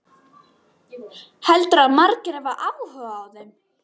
Heldurðu að margir hafi áhuga á þeim?